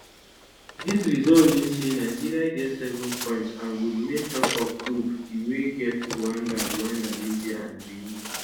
dis result mean say nigeria get seven points and go remain top of group d wey get rwanda rwanda libya and benin